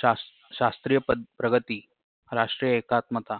शास शास्त्रीय प्र प्रगती राष्ट्रीय एकात्मता